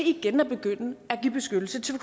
igen begynde at give beskyttelse til